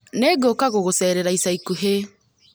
Nĩ ngũka kugucerera ica ikuhĩ